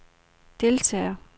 deltager